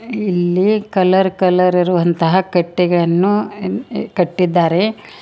ಇಲ್ಲಿ colour colour ಇರುವಂತಹ ಕಟ್ಟಿಗೆಯನ್ನು ಕಟ್ಟಿದ್ದಾರೆ.